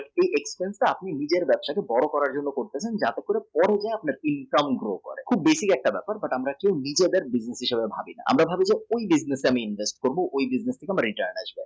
একটু একটু করে আপনি নিজের ব্যবসা কে যা করার জন্যে করেন তাতে আপনার income grow করে খুব basic একটা ব্যাপার আমরা নিজেদের degree হিসাবে ভাবি আমার ভাবি কোন degree তে invest করি।